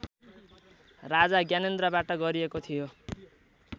राजा ज्ञानेन्द्रबाट गरिएको थियो